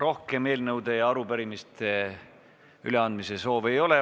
Rohkem eelnõude ja arupärimiste üleandmise soove ei ole.